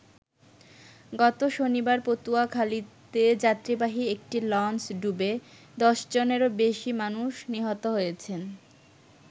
গত শনিবার পটুয়াখালীতে যাত্রীবাহী একটি লঞ্চ ডুবে দশজনেরও বেশি মানুষ নিহত হয়েছেন।